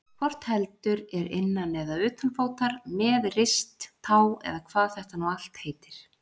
Hvort heldur er innan eða utanfótar, með rist, tá eða hvað þetta nú allt heitir.